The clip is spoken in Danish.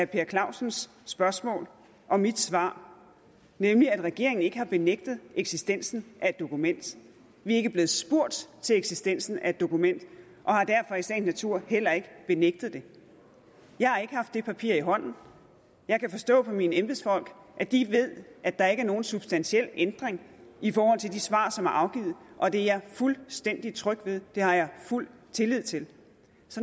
per clausens spørgsmål og mit svar nemlig at regeringen ikke har benægtet eksistensen af et dokument vi er ikke blevet spurgt til eksistensen af et dokument og har derfor i sagens natur heller ikke benægtet det jeg har ikke haft det papir i hånden jeg kan forstå på mine embedsfolk at de ved at der ikke er nogen substantiel ændring i forhold til de svar som er afgivet og det er jeg fuldstændig tryg ved det har jeg fuld tillid til